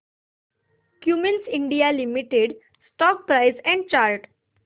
Cummins India limited stock price and chart